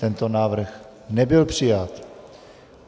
Tento návrh nebyl přijat.